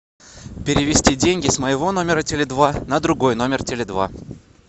перевести деньги с моего номера теле два на другой номер теле два